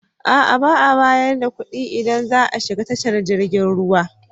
Ba a bayar da kuɗi idan za a shiga tashar jirgin ruwa.